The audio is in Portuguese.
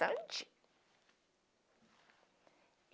Sante!